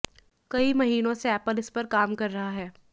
कई महीनो से एप्पल इसपर काम कर रहा है